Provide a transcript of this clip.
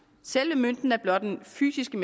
selve mønten er blot den fysiske